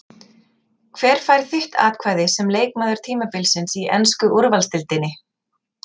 Hver fær þitt atkvæði sem leikmaður tímabilsins í ensku úrvalsdeildinni?